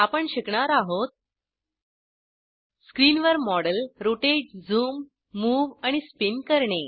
आपण शिकणार आहोत स्क्रिनवर मॉडेल रोटेट झूम मूव्ह आणि स्पिन करणे